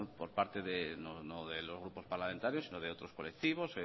por parte no de los grupos parlamentarios sino de otros colectivos